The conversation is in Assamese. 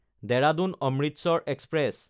দেৰাদুন–অমৃতসৰ এক্সপ্ৰেছ